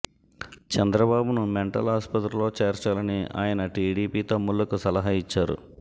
చంద్రబాబును మెంటల్ ఆస్పత్రిలో చేర్చాలని ఆయన టిడీపీ తమ్ముళ్లకు సలహా ఇచ్చారు